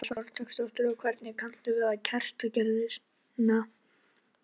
Þórhildur Þorkelsdóttir: Og hvernig kanntu við kertagerðina?